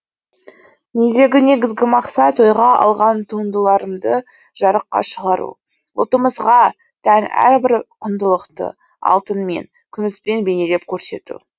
мендегі негізгі мақсат ойға алған туындыларымды жарыққа шығару ұлтымызға тән әрбір құндылықты алтынмен күміспен бейнелеп көрсету